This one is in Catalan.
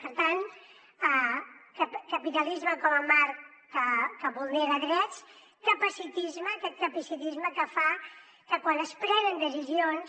per tant capitalisme com a marc que vulnera drets capacitisme aquest capacitisme que fa que quan es prenen decisions